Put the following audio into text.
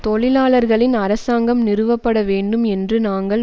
தொழிலாளர்களின் அரசாங்கம் நிறுவப்பட வேண்டும் என்று நாங்கள்